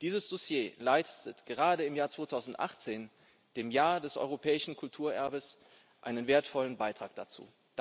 Dieses Dossier leistet gerade im Jahr 2018, dem Jahr des europäischen Kulturerbes, einen wertvollen Beitrag dazu.